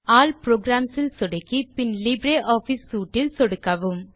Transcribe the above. all programs இல் சொடுக்கி பின் லிப்ரியாஃபிஸ் சூட் இல் சொடுக்கவும்